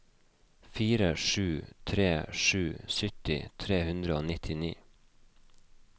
fire sju tre sju sytti tre hundre og nittini